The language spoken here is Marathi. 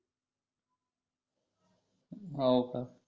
हो का